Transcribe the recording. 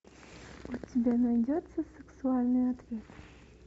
у тебя найдется сексуальный ответ